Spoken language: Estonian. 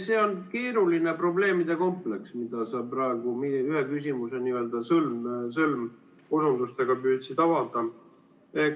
See on keeruline probleemide kompleks, mida sa praegu ühe küsimuse n‑ö sõlmosundustega püüdsid avada.